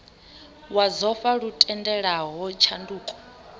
wa dzofha lu tendelaho tshanduko